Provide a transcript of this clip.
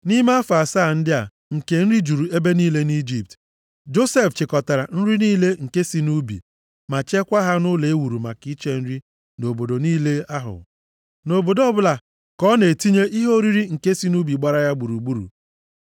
Nʼime afọ asaa ndị a nke nri juru ebe niile nʼIjipt, Josef chịkọtara nri niile nke si nʼubi, ma chekwaa ha nʼụlọ e wuru maka iche nri nʼobodo niile ahụ. Nʼobodo ọbụla, ka ọ na-etinye ihe oriri nke si nʼubi gbara ya gburugburu.